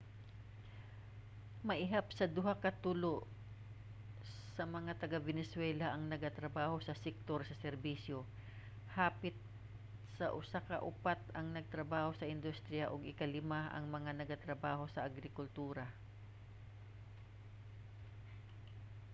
maihap sa duha sa tulo sa mga taga-venezuela ang nagatrabaho sa sektor sa serbisyo hapit sa usa sa upat ang nagatrabaho sa industriya ug ikalima ang mga nagtrabaho sa agrikultura